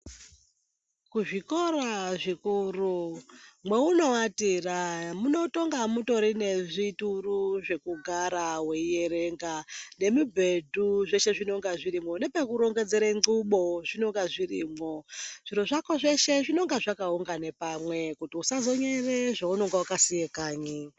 Kuzvikora zvikuru mwaunowatira munotonga mutori nezvituru zvekugara weierenga zveshe nemubhedhu zvinenge zvirimwo nepekurongedzera nxubo zvinenge zvirimwo. Zviro zvako zveshe zvinenge zvakaunganidzwa pamwechete kuti usazonyere zvaunenge wakasiya kanyi.